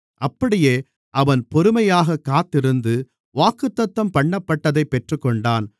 அப்படியே அவன் பொறுமையாகக் காத்திருந்து வாக்குத்தத்தம்பண்ணப்பட்டதைப் பெற்றுக்கொண்டான்